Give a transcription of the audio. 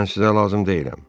Mən sizə lazım deyiləm.